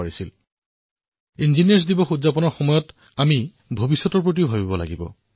এতিয়া আমি যি ইঞ্জিনীয়াৰ দিৱস পালন কৰোঁ তাত আমি ভৱিষ্যতৰ কথা চিন্তা কৰিব লাগে